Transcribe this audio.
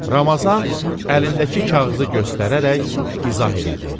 Ramazan əlindəki kağızı göstərərək izah elədi.